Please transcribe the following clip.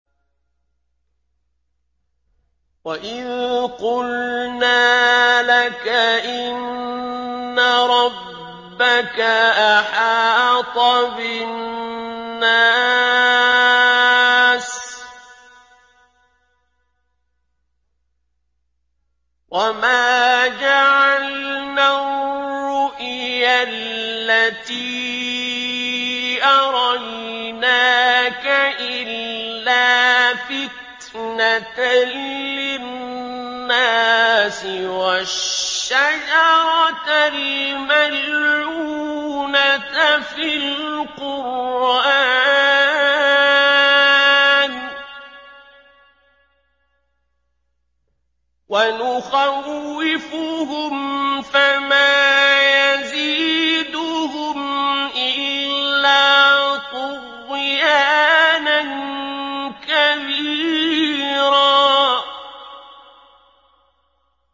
وَإِذْ قُلْنَا لَكَ إِنَّ رَبَّكَ أَحَاطَ بِالنَّاسِ ۚ وَمَا جَعَلْنَا الرُّؤْيَا الَّتِي أَرَيْنَاكَ إِلَّا فِتْنَةً لِّلنَّاسِ وَالشَّجَرَةَ الْمَلْعُونَةَ فِي الْقُرْآنِ ۚ وَنُخَوِّفُهُمْ فَمَا يَزِيدُهُمْ إِلَّا طُغْيَانًا كَبِيرًا